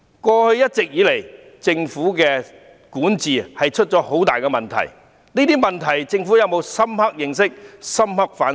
過去一直以來，政府的管治出了很大問題，對於這些問題，政府有否深刻認識和反醒？